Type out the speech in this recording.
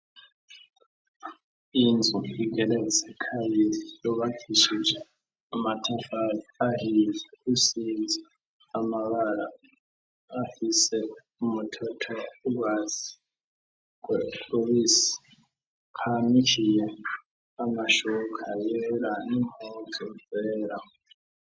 Inzu igeretse kabiri yubakishije amatafari isize amabara afise umutoto n' ugwatsi rubisi hanikiye amashuka yera n'impuzu zera.